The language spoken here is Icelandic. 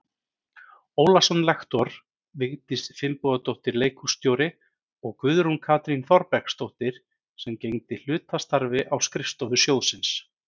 Ólason lektor, Vigdís Finnbogadóttir leikhússtjóri og Guðrún Katrín Þorbergsdóttir sem gegndi hlutastarfi á skrifstofu sjóðsins.